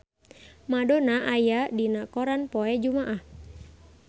Madonna aya dina koran poe Jumaah